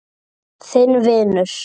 Þinn vinur.